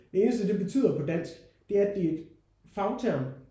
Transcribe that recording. Det eneste det betyder på dansk det er at det er et fagterm